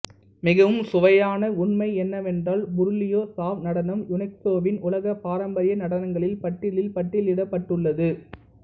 மிகவும் சுவையான உண்மை என்னவென்றால் புருலியா சாவ் நடனம் யுனெஸ்கோவின் உலக பாரம்பரிய நடனங்களின் பட்டியலில் பட்டியலிடப்பட்டுள்ளது